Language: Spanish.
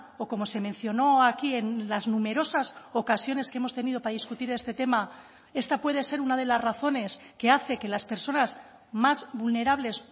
o como se mencionó aquí en las numerosas ocasiones que hemos tenido para discutir este tema esta puede ser una de las razones que hace que las personas más vulnerables